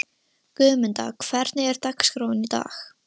Guðmunda, hvernig er dagskráin í dag?